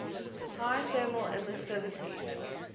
high thermal emissivity